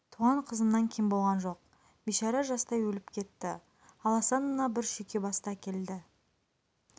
туған қызымнан кем болған жоқ бейшара жастай өліп кетті ал асан мына бір шүйке басты әкелді